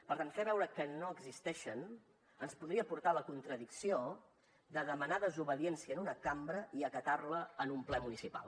per tant fer veure que no existeixen ens podria portar a la contradicció de demanar desobediència en una cambra i acatar la en un ple municipal